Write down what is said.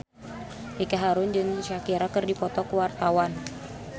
Ricky Harun jeung Shakira keur dipoto ku wartawan